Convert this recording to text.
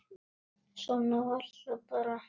Svona var það bara.